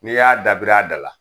N'i y'a dabir'a dala